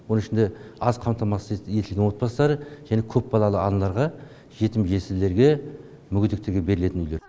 оның ішінде аз қамтамасыз етілген отбастары және көпбалалы аналарға жетім жесірлерге мүгедектерге берілетін үйлер